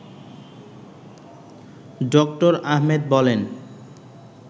ড: আহমেদ বলেন